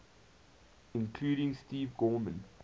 including steve gorman